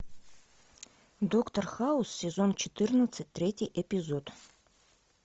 доктор хаус сезон четырнадцать третий эпизод